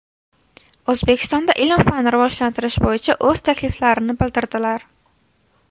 O‘zbekistonda ilm-fanni rivojlantirish bo‘yicha o‘z takliflarini bildirdilar.